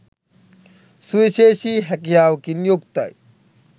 සුවිශේෂී හැකියාවකින් යුක්තයි.